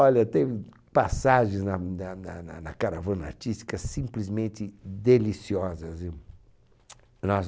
Olha, teve passagens na na na na na caravana artística simplesmente deliciosas. Eu, nossa